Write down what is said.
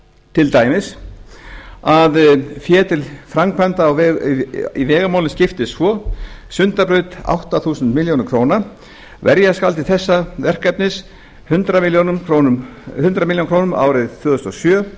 til dæmis að fé til framkvæmda í vegamálum skiptist svo sundabraut átta þúsund milljónir króna verja skal til þessa verkefnis hundrað milljónir króna árið tvö þúsund og sjö